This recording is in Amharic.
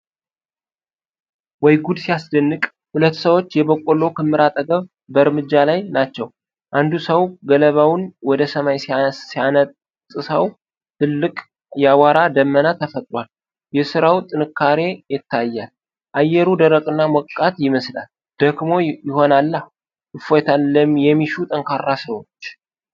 ወይ ጉድ ሲያስደንቅ! ሁለት ሰዎች የበቆሎ ክምር አጠገብ በእርምጃ ላይ ናቸው። አንዱ ሰው ገለባውን ወደ ሰማይ ሲያነጥሰው ትልቅ የአቧራ ደመና ተፈጥሯል። የስራው ጥንካሬ ይታያል። አየሩ ደረቅና ሞቃት ይመስላል። ደክሞ ይሆናላ! እፎይታን የሚሹ ጠንካራ ሰዎች!